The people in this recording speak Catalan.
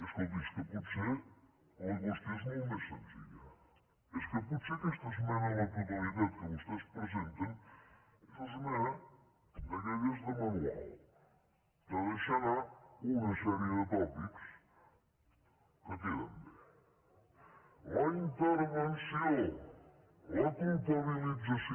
escolti és que potser la qüestió és molt més senzilla és que potser aquesta esmena a la totalitat que vostès presenten és una esmena d’aquelles de manual de deixar anar una sèrie de tòpics que queden bé la intervenció la culpabilització